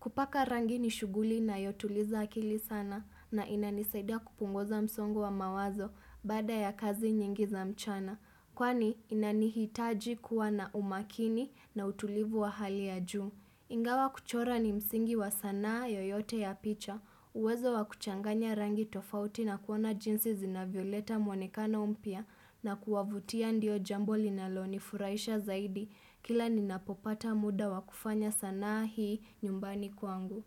Kupaka rangi ni shughuli inayotuliza akili sana na inanisaida kupunguza msongo wa mawazo baada ya kazi nyingi za mchana. Kwani inanihitaji kuwa na umakini na utulivu wa hali ya juu. Ingawa kuchora ni msingi wa sanaa yoyote ya picha, uwezo wa kuchanganya rangi tofauti na kuona jinsi zinavioleta mwonekana mpya na kuwavutia ndio jambo linalo ni furaisha zaidi kila ni napopata muda wa kufanya sanaa hii nyumbani kwangu.